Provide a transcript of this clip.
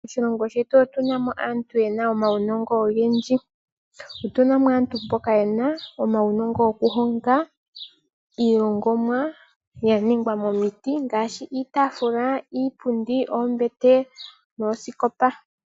Moshilongo shetu otuna mo aantu mboka yena omaunongo ogendji. Otuna mo aantu mboka yena uunongo wo kuhonga iihongomwa ya ningwa miipilangi ngaashi oombete, oosikopa, iitafula nosho tuu.